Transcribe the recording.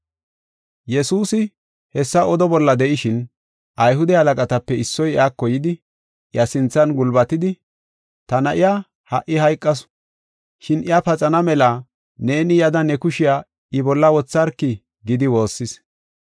Yesuusi hessa odo bolla de7ishin, Ayhude halaqatape issoy iyako yidi, iya sinthan gulbatidi, “Ta na7iya ha77i hayqasu, shin iya paxana mela neeni yada ne kushiya I bolla wotharki” gidi woossis.